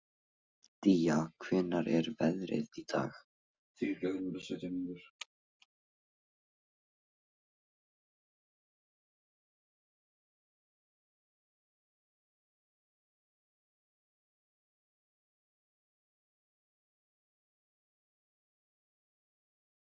Myrra, slökktu á þessu eftir ellefu mínútur.